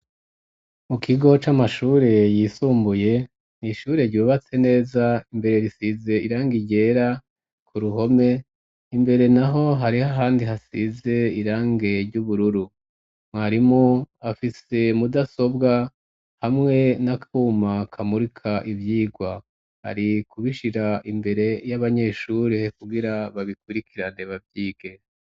Mu kigo c'amashure yisumbuye nishure ryubatse neza imbere risize iranga iryera ku ruhome imbere na ho hariho ahandi hasize irange ry'ubururu mwarimo afise mudasobwa hamwe n'akuma kamurika ivyirwai ikubishira imbere y'abanyeshurih kugira babikurikira nebavyigera.